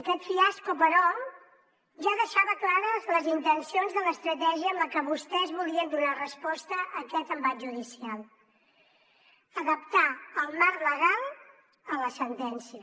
aquest fiasco però ja deixava clares les intencions de l’estratègia amb la que vostès volien donar resposta a aquest embat judicial adaptar el marc legal a la sentència